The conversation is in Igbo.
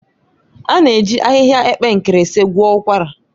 A na-eji ahịhịa epe nkirisi gwọọ ụkwara